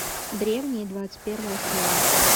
древние двадцать первая серия